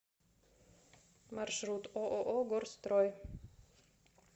маршрут ооо горстрой